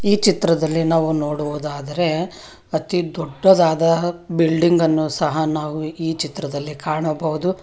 ಈ ಚಿತ್ರದಲ್ಲಿ ನಾವು ನೋಡುವುದಾದರೆ ಅತಿ ದೊಡ್ಡದಾದ ಬಿಲ್ಡಿಂಗ್ ಅನ್ನು ಸಹ ನಾವು ಈ ಚಿತ್ರದಲ್ಲಿ ಕಾಣಬಹುದು.